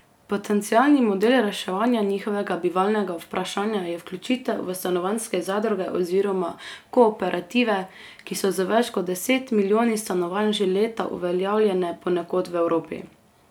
Potencialni model reševanja njihovega bivalnega vprašanja je vključitev v stanovanjske zadruge oziroma kooperative, ki so z več kot deset milijoni stanovanj že leta uveljavljene ponekod v Evropi.